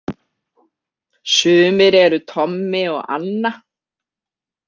Sumir eru Tommi og Anna.